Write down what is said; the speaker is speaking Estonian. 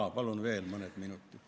Jaa, palun veel mõne minuti.